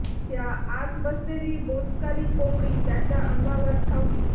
त्या आत बसलेली बोचकारी कोंबडी त्याच्या अंगावर धावली